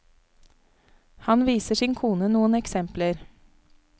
Han viser sin kone noen eksempler.